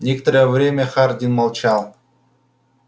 некоторое время хардин молчал